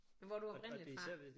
Men hvor er du oprindeligt fra